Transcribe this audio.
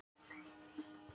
En hvað heldurðu?